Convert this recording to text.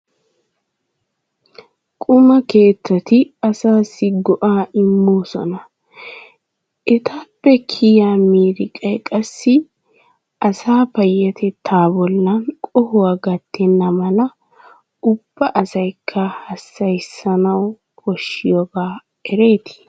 Quma keettati asaassi go'aa immoosona. Etappe kiyiya miiriqay qassi asaa payyatettaa bollan qohuwa gattenna mala ubba asaykka hassayissanawu koshshiyogaa ereetii?